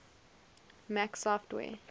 mac os software